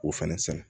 K'o fɛnɛ sɛnɛ